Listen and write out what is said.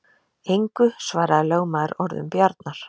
Engu svaraði lögmaður orðum Bjarnar.